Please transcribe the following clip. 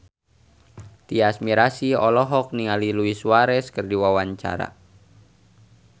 Tyas Mirasih olohok ningali Luis Suarez keur diwawancara